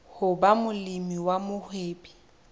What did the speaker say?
ho ba molemi wa mohwebi